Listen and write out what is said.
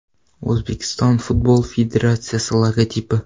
O‘zbekiston Futbol Federatsiyasi logotipi.